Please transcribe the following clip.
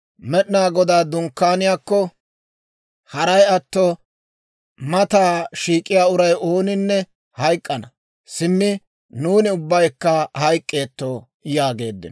Med'inaa Godaa Dunkkaaniyaakko, haray atto mataa shiik'iyaa uray ooninne hayk'k'ana. Simmi nuuni ubbaykka hayk'k'eettoo?» yaageeddino.